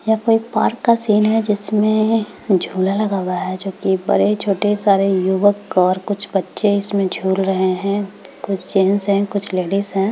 यहाँ कोई पार्क का सीन है जिसमें झूला लगा हुआ है जोकि बड़े छोटे सारे युवक और कुछ बच्चे झूल रहे है कुछ जेन्स है कुछ लेडिस है।